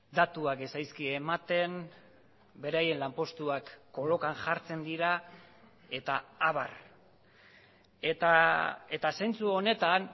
datuak ez zaizkie ematen beraien lanpostuak kolokan jartzen dira eta abar eta zentzu honetan